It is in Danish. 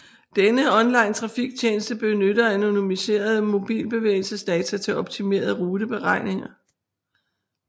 Denne onlinetrafiktjeneste benytter anonymiserede mobilbevægelsesdata til optimale ruteberegninger